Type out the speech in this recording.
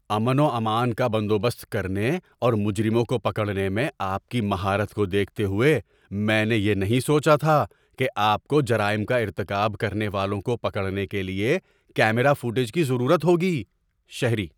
امن و امان کا بندوبست کرنے اور مجرموں کو پکڑنے میں آپ کی مہارت کو دیکھتے ہوئے میں نے یہ نہیں سوچا تھا کہ آپ کو جرائم کا ارتکاب کرنے والوں کو پکڑنے کے لیے کیمرا فوٹیج کی ضرورت ہوگی۔ (شہری)